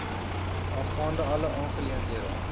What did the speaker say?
aangaande alle aangeleenthede